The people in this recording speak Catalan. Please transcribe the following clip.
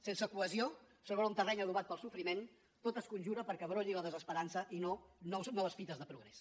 sense cohesió sobre un terreny adobat pel sofriment tot es conjura perquè brolli la desesperança i no noves fites de progrés